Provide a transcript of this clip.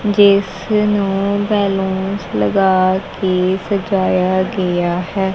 ਜਿਸਨੂੰ ਬੱਲੂਨਸ ਲਗਾਕੇ ਸਜਾਯਾ ਗਿਆ ਹੈ।